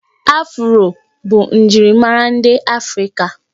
Afụro bụ njirimara ndị afrịka